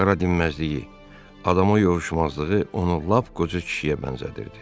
Qara dinməzliyi, adama yovuşmazlığı onu lap qoca kişiyə bənzədirdi.